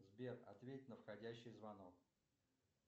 сбер ответь на входящий звонок